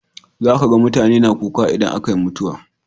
Za ka ga mutane na kuka idan aka yi mutuwa.